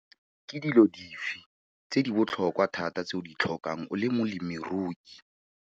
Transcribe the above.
Ke dilo dife tse di botlhokwa thata tse o di tlhokang o le molemirui?